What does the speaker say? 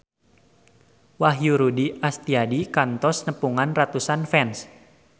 Wahyu Rudi Astadi kantos nepungan ratusan fans